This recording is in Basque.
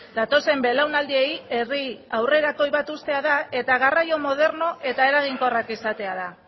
datozen belaunaldiei herri aurrerakoi bat uztea da eta garraio moderno eta eraginkorrak izatea da